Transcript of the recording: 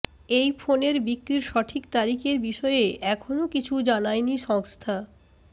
এই ফোনের বিক্রির সঠিক তারিখ এর বিষয়ে এখনও কিছু জানায়নি সংস্থা